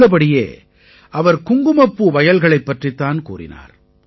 உள்ளபடியே அவர் குங்குமப்பூ வயல்களைப் பற்றித் தான் கூறினார்